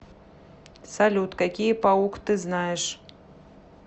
салют какие паук ты знаешь